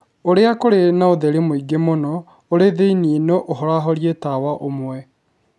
Olly kũrĩ na ũtheri mũingĩ mũno ũrĩ thĩinĩ no ũhorahorĩe tawa ũmwe